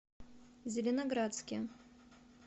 зеленоградске